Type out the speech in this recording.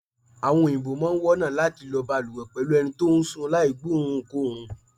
Àwo̩n òyìnbó máa wó̩nà láti lo balùwè pè̩lú eni tó ń s̩u láì gbóòórùnkóòórùn.